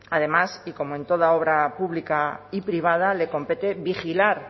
además y como en toda obra pública y privada le compete vigilar